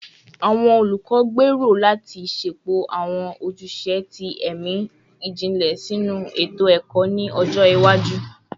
Awọn olukọ gbero lati ṣepọ awọn ojuse ti ẹmi jinlẹ sinu eto-ẹkọ ni ọjọ iwaju